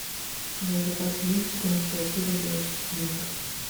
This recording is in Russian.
у тебя в запасе есть четырнадцатая серия девочки гилмор